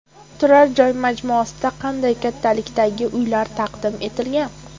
Turar joy majmuasida qanday kattalikdagi uylar taqdim etilgan?